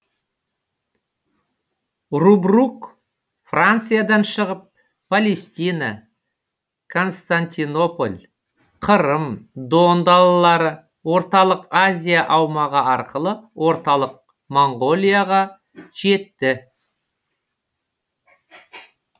рубрук франциядан шығып палестина константинополь қырым дон далалары орталық азия аумағы арқылы орталық моңғолияға жетті